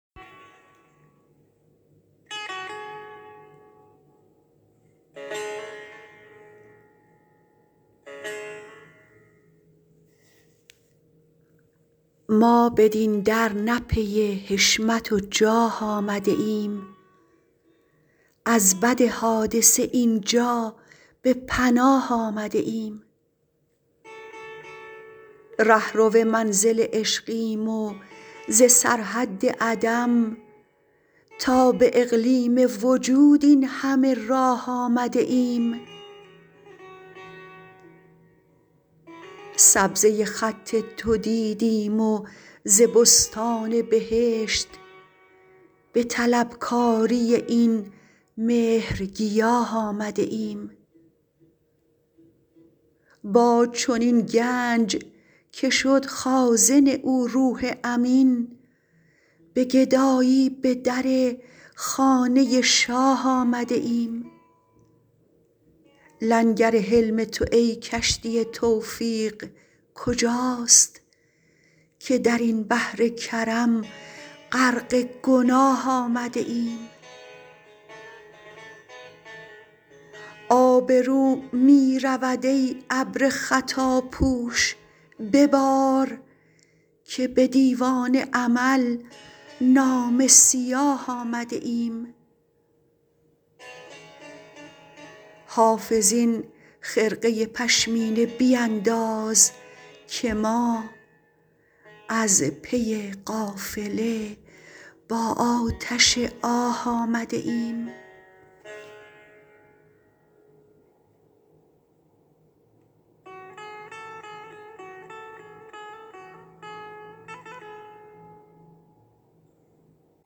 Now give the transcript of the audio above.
ما بدین در نه پی حشمت و جاه آمده ایم از بد حادثه این جا به پناه آمده ایم رهرو منزل عشقیم و ز سرحد عدم تا به اقلیم وجود این همه راه آمده ایم سبزه خط تو دیدیم و ز بستان بهشت به طلبکاری این مهرگیاه آمده ایم با چنین گنج که شد خازن او روح امین به گدایی به در خانه شاه آمده ایم لنگر حلم تو ای کشتی توفیق کجاست که در این بحر کرم غرق گناه آمده ایم آبرو می رود ای ابر خطاپوش ببار که به دیوان عمل نامه سیاه آمده ایم حافظ این خرقه پشمینه بینداز که ما از پی قافله با آتش آه آمده ایم